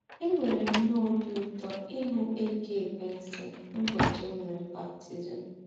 Enwere m nnọọ obi ụtọ ịhụ Eddie Besson n'ụbọchị e mere m baptizim.